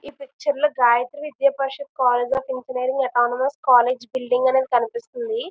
ఈ పిక్చర్ లో Gayatri Vidya Parishad college of engineering autonomous college building అనేది కనిపిస్తుంది.